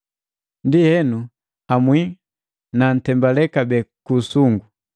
Ndienu, nhamwii nantembale kabee ku usungu.